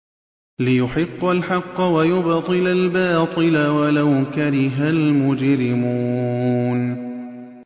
لِيُحِقَّ الْحَقَّ وَيُبْطِلَ الْبَاطِلَ وَلَوْ كَرِهَ الْمُجْرِمُونَ